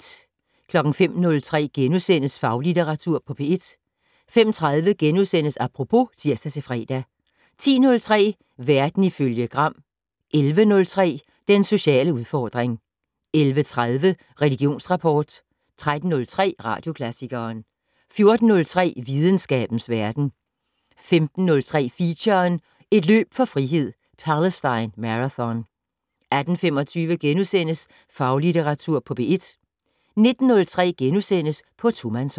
05:03: Faglitteratur på P1 * 05:30: Apropos *(tir-fre) 10:03: Verden ifølge Gram 11:03: Den sociale udfordring 11:30: Religionsrapport 13:03: Radioklassikeren 14:03: Videnskabens verden 15:03: Feature: Et løb for frihed - Palestine Marathon 18:25: Faglitteratur på P1 * 19:03: På tomandshånd *